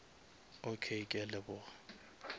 okay ke a leboga